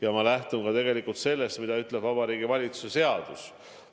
Samas ma lähtun ka sellest, mida ütleb Vabariigi Valitsuse seadus.